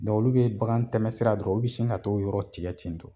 olu be bakan tɛmɛ sira ye dɔrɔn, olu bi sin ka t'o yɔrɔ tigɛ ten tɔ